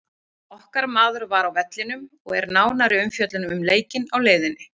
Okkar maður var á vellinum og er nánari umfjöllun um leikinn á leiðinni.